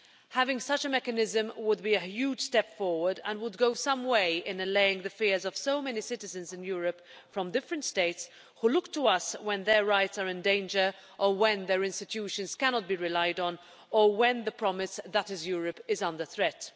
Having such a mechanism would be a huge step forward and would go some way in allaying the fears of so many citizens in Europe from different States who look to us when their rights are in danger, or when their institutions cannot be relied on or when the promise that is Europe is under threat.